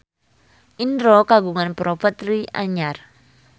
Indro kagungan properti anyar